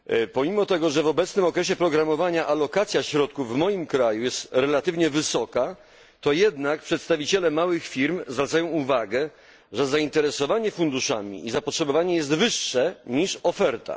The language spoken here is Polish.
Pomimo że w obecnym okresie programowania alokacja środków w moim kraju jest relatywnie wysoka, to jednak przedstawiciele małych firm zwracają uwagę, że zainteresowanie funduszami i zapotrzebowanie jest wyższe niż oferta.